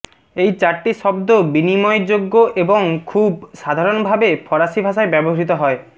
এই চারটি শব্দ বিনিময়যোগ্য এবং খুব সাধারণভাবে ফরাসি ভাষায় ব্যবহৃত হয়